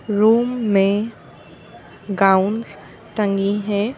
Room में gowns टंगी हैं।